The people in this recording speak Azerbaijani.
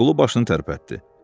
Musaqulu başını tərpətdi.